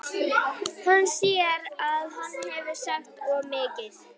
Hann sér að hann hefur sagt of mikið.